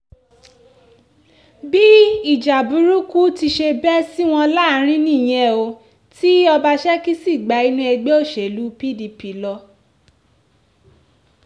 bí ìjà burúkú ti ṣe bẹ́ sí wọn láàrín nìyẹn o ti ọbaṣẹ́kí sì gba inú ẹgbẹ́ òṣèlú pdp lọ